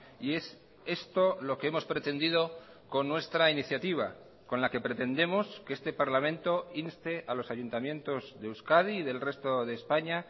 y es esto lo que hemos pretendido con nuestra iniciativa con la que pretendemos que este parlamento inste a los ayuntamientos de euskadi y del resto de españa